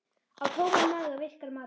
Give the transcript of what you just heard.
Á tóman maga virkar matar